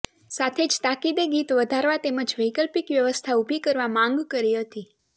સાથે જ તાકીદે ગીત વધારવા તેમજ વૈકલ્પિક વ્યવસ્થા ઊભી કરવા માંગ કરી હતી